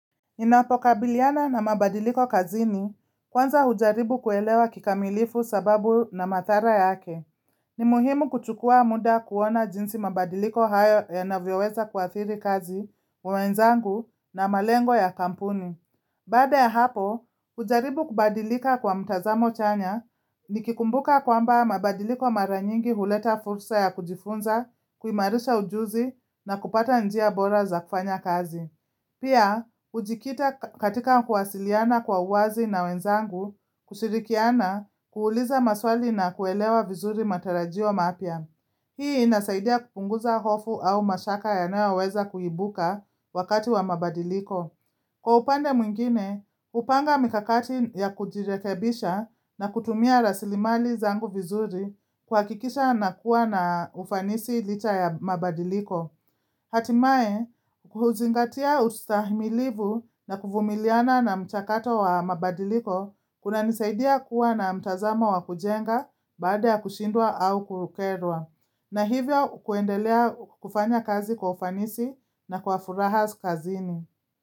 Ninapokabiliana na mabadiliko kazini, kwanza hujaribu kuelewa kikamilifu sababu na madhara yake. Ni muhimu kuchukua muda kuona jinsi mabadiliko hayo yanavyoweza kuadhiri kazi, wenzangu na malengo ya kampuni. Bada ya hapo, hujaribu kubadilika kwa mtazamo chanya nikikumbuka kwamba mabadiliko mara nyingi huleta fursa ya kujifunza, kuimarisha ujuzi na kupata njia bora za kufanya kazi. Pia, hujikita katika kuwasiliana kwa uwazi na wenzangu, kushirikiana, kuuliza maswali na kuelewa vizuri matarajio mapya. Hii inasaidia kupunguza hofu au mashaka yanayo weza kuibuka wakati wa mabadiliko. Kwa upande mwingine, hupanga mikakati ya kujirekebisha na kutumia rasilimali zangu vizuri kuhakikisha na kuwa na ufanisi licha ya mabadiliko. Hatimaye, huzingatia ustahimilivu na kuvumiliana na mchakato wa mabadiliko kuna nisaidia kuwa na mtazamo wa kujenga baada ya kushindwa au kukerwa. Na hivyo kuendelea kufanya kazi kwa ufanisi na kwa furaha kazini.